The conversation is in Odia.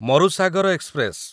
ମରୁସାଗର ଏକ୍ସପ୍ରେସ